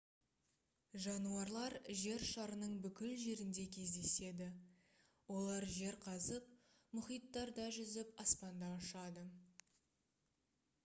жануарлар жер шарының бүкіл жерінде кездеседі олар жер қазып мұхиттарда жүзіп аспанда ұшады